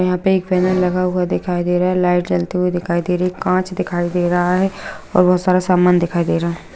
यहाँ पे एक बैनर लगा हुआ दिखाई दे रहा है लाइट जलती हुई दिखाई दे रही कांच दिखाई दे रहा है और बहुत सारा सामान दिखाई दे रहा रहा है।